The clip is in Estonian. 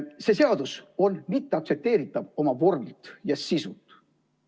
See seadus on mitteaktsepteeritav oma vormilt ja sisult.